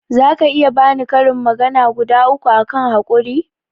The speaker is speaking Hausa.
zaka iya bani karin magana guda uku akan haƙuri?